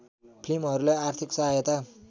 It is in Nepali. फिल्महरूलाई आर्थिक सहायता